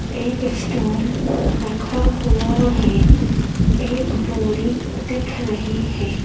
एक स्टूल रखा हुआ है एक बोरी दिख रही है।